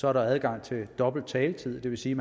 er der adgang til dobbelt taletid det vil sige